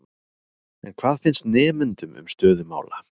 En hvað finnst nemendum um stöðu mála?